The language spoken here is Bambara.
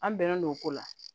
An bɛnnen don o ko la